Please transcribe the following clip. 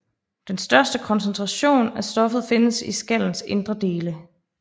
Den største koncentration af stoffet findes i skallens indre dele